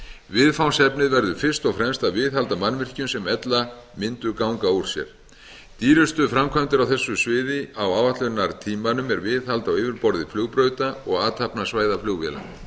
viðfangsefnið verður fyrst og fremst að viðhalda mannvirkjum sem ella mundu ganga úr sér dýrustu framkvæmdir á þessu sviði á áætlunartímanum eru viðhald á yfirborði flugbrauta og athafnasvæða flugvéla